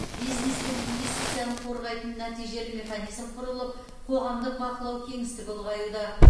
бизнес пен инвестицияны қорғайтын нәтижелі механизм құрылып қоғамдық бақылау кеңістігі ұлғаюда